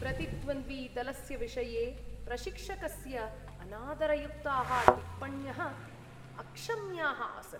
प्रतिद्वन्द्विदलस्य विषये प्रशिक्षकस्य अनादरयुक्ताः टिप्पण्यः अक्षम्याः आसन्।